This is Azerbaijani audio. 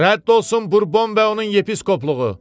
Rədd olsun Burbon və onun yepiskopluğu!